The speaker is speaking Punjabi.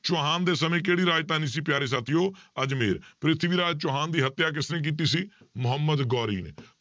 ਚੌਹਾਨ ਦੇ ਸਮੇਂ ਕਿਹੜੀ ਰਾਜਧਾਨੀ ਸੀ ਪਿਆਰੇ ਸਾਥੀਓ ਅਜ਼ਮੇਰ ਪ੍ਰਿਥਵੀ ਰਾਜ ਚੌਹਾਨ ਦੀ ਹੱਤਿਆ ਕਿਸਨੇ ਕੀਤੀ ਸੀ, ਮੁਹੰਮਦ ਗੌਰੀ ਨੇ,